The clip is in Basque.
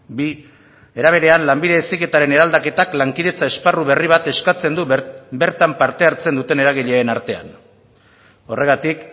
bi era berean lanbide heziketaren eraldaketak lankidetza esparru berri bat eskatzen du bertan parte hartzen duten eragileen artean horregatik